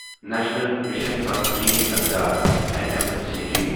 national mission for clean Ganga N M C G